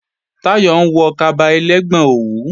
Táyọ̀ ń wọ kaba ẹlẹ́gbọn òwú